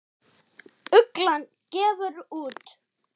Ugla gefur út.